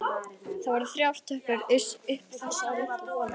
Það voru þrjár tröppur upp í þessa litlu holu.